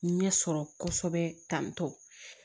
Ɲɛ sɔrɔ kosɛbɛ tan tɔ